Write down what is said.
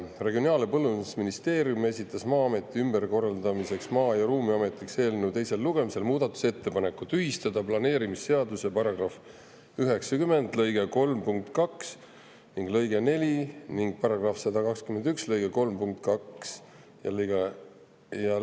Regionaal- ja Põllumajandusministeerium esitas Maa-ameti ümberkorraldamise Maa- ja Ruumiametiks eelnõu teise lugemise muudatusettepaneku tühistada planeerimisseaduse § 90 lõike 3 punkt 2 ja lõige 4 ning § 121 lõike 3 punkt 2 ja lõige 4.